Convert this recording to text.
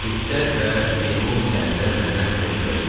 İtlər və meymun səhnədə məndən təcrübəli idilər.